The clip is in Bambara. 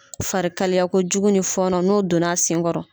Farikalaya ko jugu ni fɔnɔ, no donna sen kɔrɔ.